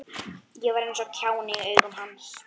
Ég var eins og kjáni í augum hans.